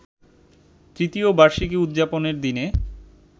তৃতীয় বার্ষিকী উদযাপনের দিনে